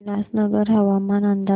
उल्हासनगर हवामान अंदाज